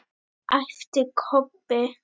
æpti Kobbi.